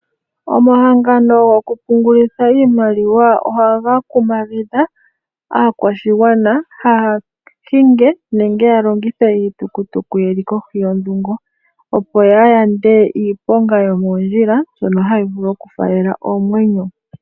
Omahangano goku pungulitha iimaliwa ohaga kumagidha aakwashigwana kaaya hinge nenge ya longithe iitukutuku ye li kohi yondhungo, opo ya yande iiponga yomoondjila mbyono hayi vulu oku faalela oomwenyo.